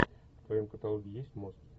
в твоем каталоге есть мост